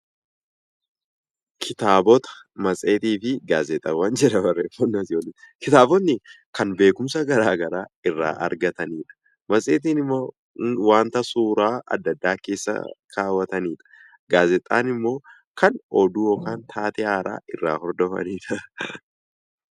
Kitaabonni kan beekumsa garaagaraa irraa argatanidha. Matseetiin immoo wanta suuraa adda addaa keessa kaawwatanidha. Gaazexaan immoo kan oduu yookaan taatee haaraa irraa hordofanidha.